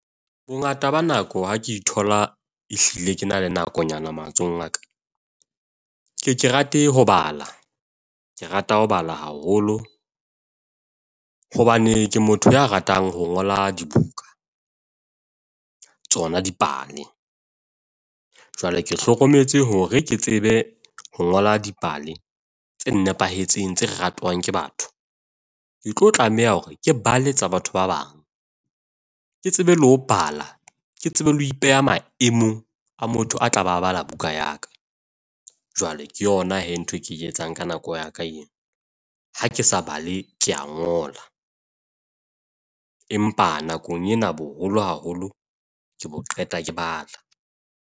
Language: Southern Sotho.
Bongata ba nako ha ke thola ehlile ke na le nakonyana matsohong a ka, ke ye ke rate ho bala. Ke rata ho bala haholo hobane ke motho ya ratang ho ngola dibuka, tsona dipale. Jwale ke hlokometse hore ke tsebe ho ngola dipale tse nepahetseng, tse ratwang ke batho. Ke tlo tlameha hore ke bala tsa batho ba bang. Ke tsebe le ho bala, ke tsebe le ho ipeha maemong a motho a tla ba bala buka ya ka. Jwale ke yona he ntho e ke ke etsang ka nako ya ka eo. Ha ke sa bale, ke a ngola, Empa nakong ena boholo haholo ke bo qeta ke bala.